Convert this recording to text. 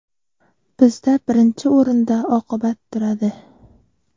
Bizda birinchi o‘rinda oqibat turadi.